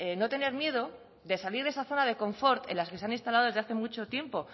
no tener miedo de salir de esa zona de confort en las que se han instalado desde hace mucho tiempo